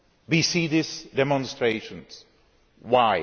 we see these demonstrations. Why?